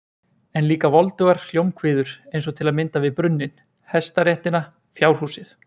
En líka voldugar hljómkviður eins og til að mynda við brunninn, hestaréttina, fjárhúsið.